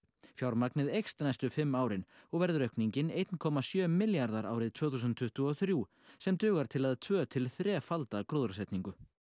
fjármagnið eykst næstu fimm árin og verður aukningin eitt komma sjö milljarðar árið tvö þúsund tuttugu og þrjú sem dugar til að tvö til þrefalda gróðursetningu